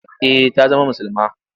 Eh ta zama musulma.